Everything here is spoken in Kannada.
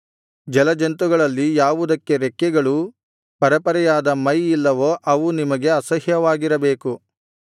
ಜಲಜಂತುಗಳಲ್ಲಿ ಯಾವುದಕ್ಕೆ ರೆಕ್ಕೆಗಳೂ ಪರೆಪರೆಯಾದ ಮೈ ಇಲ್ಲವೋ ಅವು ನಿಮಗೆ ಅಸಹ್ಯವಾಗಿರಬೇಕು